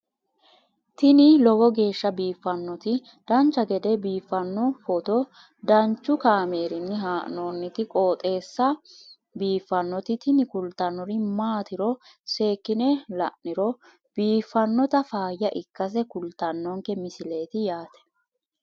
tini lowo geeshsha biiffannoti dancha gede biiffanno footo danchu kaameerinni haa'noonniti qooxeessa biiffannoti tini kultannori maatiro seekkine la'niro biiffannota faayya ikkase kultannoke misileeti yaate